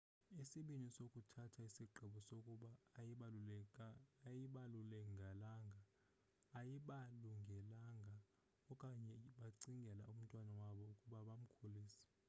isibini sinokuthatha isigqibo sokuba ayibalungelanga okanye becingela umntwana wabo ukuba bamkhulise